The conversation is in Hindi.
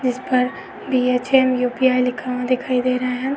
इस पर बी.एच.आई.एम. यु.पि.आई. लिखा हुआ दिखाई दे रहा है।